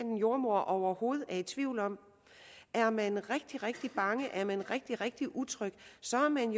jordemoder overhovedet er i tvivl om er man rigtig rigtig bange er man rigtig rigtig utryg så er man